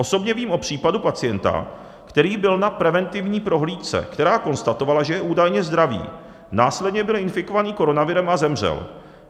Osobně vím o případu pacienta, který byl na preventivní prohlídce, která konstatovala, že je údajně zdravý, následně byl infikovaný koronavirem a zemřel.